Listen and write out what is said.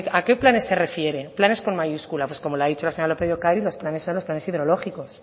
a qué planes se refiere planes con mayúscula pues como le ha dicho la señora lópez de ocariz los planes son los planes hidrológicos